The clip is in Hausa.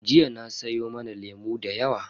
Jiya an siyo mana lemu da yawa.